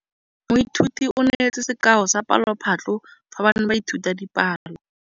Moithuti o neetse sekaô sa palophatlo fa ba ne ba ithuta dipalo.